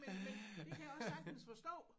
Men men det kan jeg også sagtens forstå